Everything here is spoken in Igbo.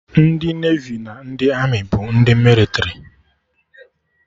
Ndị Nevi na ndị Amị bụ ndị mịlịtrị